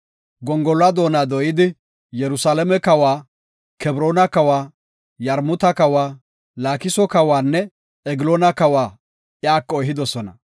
Gongoluwa doona dooyidi, Yerusalaame kawa, Kebroona kawa, Yarmuta kawa, Laakiso kawanne Egloona kawa iyako ehidosona.